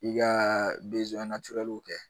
I ka kɛ